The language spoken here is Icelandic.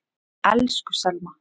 Elsku Selma.